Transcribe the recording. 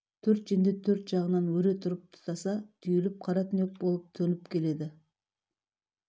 төрт жендет төрт жағынан өре тұрып тұтаса түйіліп қара түнек болып төніп келеді